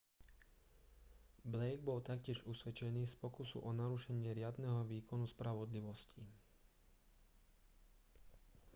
blake bol taktiež usvedčený z pokusu o narušenie riadneho výkonu spravodlivosti